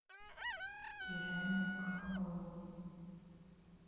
керамик холл